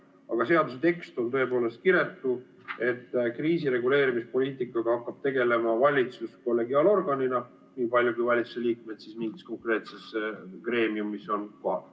Aga seaduse tekst on tõepoolest kiretu, et kriisireguleerimispoliitikaga hakkab tegelema valitsus kollegiaalorganina, niipalju kui valitsuse liikmed mingis konkreetses greemiumis on kohal.